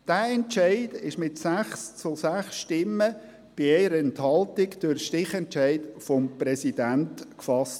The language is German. Dieser Entscheid wurde mit 6 Ja- gegen 6 Nein-Stimmen bei 1 Enthaltung durch Stichentscheid des Präsidenten gefasst.